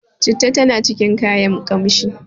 citta tana cikin kayan kanshi